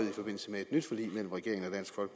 i forbindelse med et nyt forlig mellem regeringen